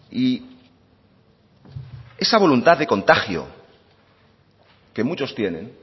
y esa voluntad de contagio que muchos tienen